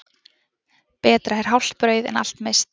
Betra er hálft brauð en allt misst.